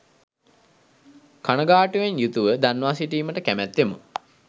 කනගාටුවෙන් යුතුව දන්වා සිටීමට කැමැත්තෙමු